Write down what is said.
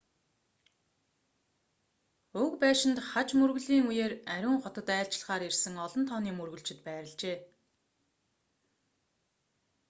уг байшинд хаж мөргөлийн үеэр ариун хотод айлчлахаар ирсэн олон тооны мөргөлчид байрлажээ